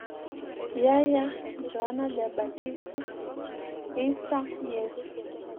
Yahya (Johana Jabatiso), Isa (Yesu).